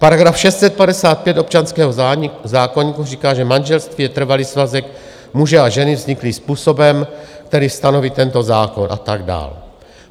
Paragraf 655 občanského zákoníku říká, že manželství je trvalý svazek muže a ženy vzniklý způsobem, který stanoví tento zákon, a tak dál.